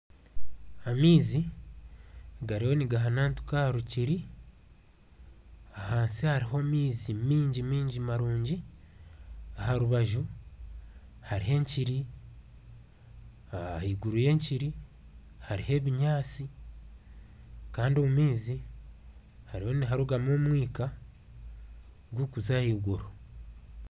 Amaizi gariyo nigahanantuka aha rukiri abansi hariho amaizi maingi marungi aha rubaju hariho enkiri ahaiguru y'enkiri hariho ebinyaatsi Kandi omu maizi hariho niharugamu omwika gurikuza ahaiguru